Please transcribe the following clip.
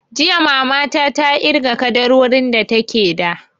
Jiya mama ta ta irga ƙaddarorin da take da